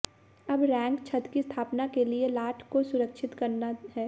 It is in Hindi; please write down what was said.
अब रैक छत की स्थापना के लिए लाठ को सुरक्षित करना है